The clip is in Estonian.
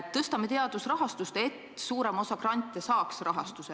Tõstame teadusrahastust, et suurem osa grante saaks rahastuse ...